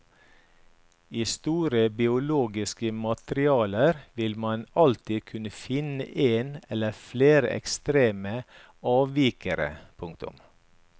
I store biologiske materialer vil man alltid kunne finne en eller flere ekstreme avvikere. punktum